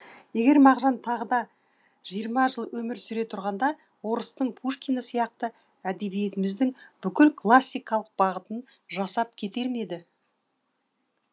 егер мағжан тағы да жиырма жыл өмір сүре тұрғанда орыстың пушкині сияқты әдебиетіміздің бүкіл классикалық бағытын жасап кетер ме еді